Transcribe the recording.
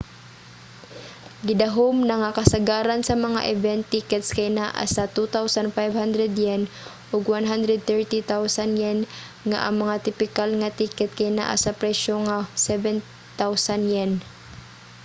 gidahum na nga kasagaran sa mga event tickets kay naa sa ¥2,500 ug ¥130,000 nga ang mga tipikal nga ticket kay naa sa presyo nga ¥7,000